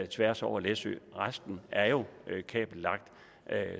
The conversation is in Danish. tværs over læsø resten er jo kabellagt